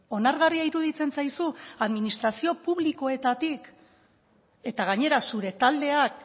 onargarria iruditzen zaizu administrazio publikoetatik eta gainera zure taldeak